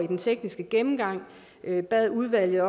den tekniske gennemgang bad udvalget